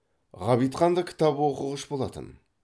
ғабитхан да кітап оқығыш болатын